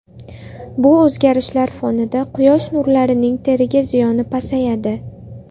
Bu o‘zgarishlar fonida quyosh nurlarining teriga ziyoni pasayadi.